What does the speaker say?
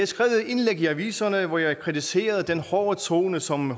skrevet et indlæg i aviserne hvor jeg kritiserede den hårde tone som